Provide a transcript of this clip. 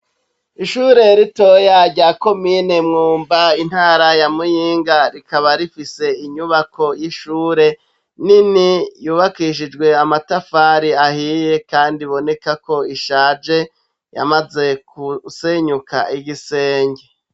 Ishure ritoya, rya komine Mwumba, intara ya Muyinga, rikaba rifise inyubako y'ishure nini, yubakishijwe amatafari ahiye, kandi iboneka ko ishaje, yamaze kusenyuka igisenge.